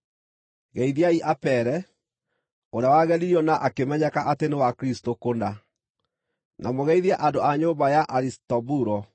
Geithiai Apele, ũrĩa wageririo na akĩmenyeka atĩ nĩ wa Kristũ kũna. Na mũgeithie andũ a nyũmba ya Arisitobulo.